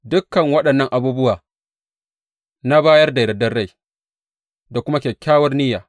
Dukan waɗannan abubuwa na bayar da yardar rai da kuma kyakkyawar niyya.